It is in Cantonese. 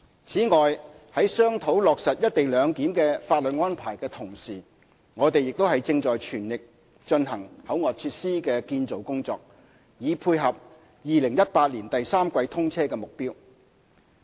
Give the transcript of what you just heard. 此外，在商討落實"一地兩檢"的法律安排的同時，我們亦正全力進行口岸設施的建造工作，以配合2018年第三季通車的目標。